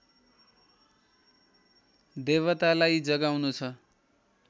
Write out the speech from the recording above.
देवतालाई जगाउनु छ